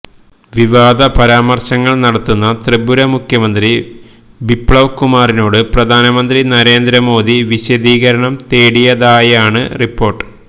വിവാദ പരാമര്ശങ്ങൾ നടത്തുന്ന ത്രിപുര മുഖ്യമന്ത്രി ബിപ്ലവ് കുമാറിനോട് പ്രധാനമന്ത്രി നരേന്ദ്രമോദി വിശദീകരണം തേടിയതായാണ് റിപ്പോര്ട്ട്